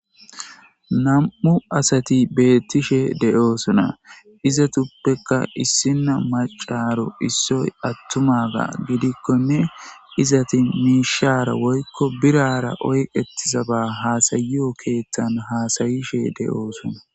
nam7u asati beettishe de7oosona iza tuppekka issinna macaaro issoy attumaga gidikkonne izati miishaara woykko birara oyqetizaba haasayiyo keeththan haasayishe de7oosona.